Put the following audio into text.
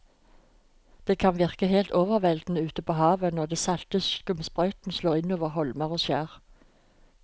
Det kan virke helt overveldende ute ved havet når den salte skumsprøyten slår innover holmer og skjær.